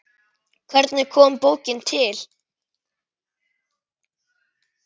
Hvernig kom bókin til?